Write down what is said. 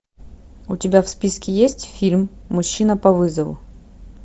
у тебя в списке есть фильм мужчина по вызову